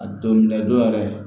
A don minɛn dɔ yɛrɛ